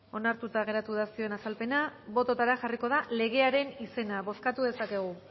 onartuta geratu da zioen azalpena botoetara jarriko da legearen izena bozkatu dezakegu